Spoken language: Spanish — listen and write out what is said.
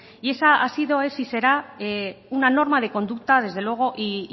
y esa ha sido es y será una norma de conducta desde luego y